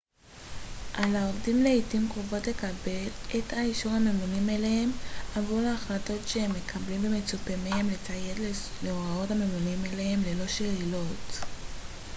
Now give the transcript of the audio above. על העובדים לעתים קרובות לקבל את אישור הממונים עליהם עבור החלטות שהם מקבלים ומצופה מהם לציית להוראות הממונים עליהם ללא שאלות